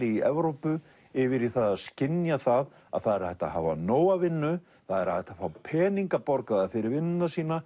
í Evrópu yfir í það að skynja það að það er hægt að hafa nóga vinnu það er hægt að fá peninga borgaða fyrir vinnuna sína